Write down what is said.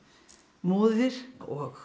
móðir og